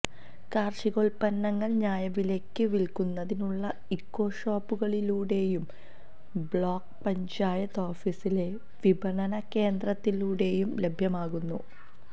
കാർഷികോത്പന്നങ്ങൾ ന്യായവിലയ്ക്ക് വിൽക്കുന്നതിനുള്ള ഇക്കോ ഷോപ്പുകളിലൂടെയും ബ്ലോക്ക് പഞ്ചായത്ത് ഓഫീസിലെ വിപണന കേന്ദ്രത്തിലൂടെയും ലഭ്യമാക്കുന്നു